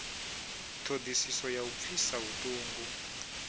ṱhodisiso ya u pfisa vhuṱungu